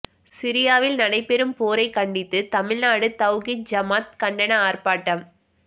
சிரியாவில் நடைபெறும் போரை கண்டித்து தமிழ்நாடு தவ்ஹீத் ஜமாத் கண்டன ஆர்ப்பாட்டம்